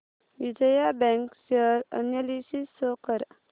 Vijaya bank share analysis show कर